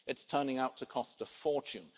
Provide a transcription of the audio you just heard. it's turning out to cost a fortune.